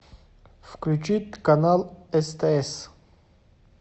включить канал стс